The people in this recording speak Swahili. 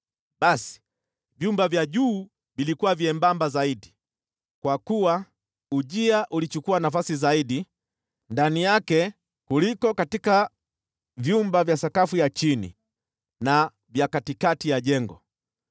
Basi vyumba vya juu vilikuwa vyembamba zaidi, kwa kuwa ujia ulichukua nafasi zaidi ndani yake kuliko katika vyumba vya sakafu ya chini na vya katikati ya jengo.